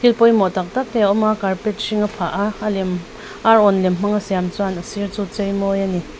thil pawimawh tak tak te a awm a carpet hring a phah a a lem arawn lem hmang a siam chuan a sir chu a chei mawi a ni.